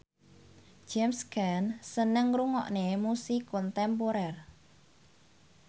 James Caan seneng ngrungokne musik kontemporer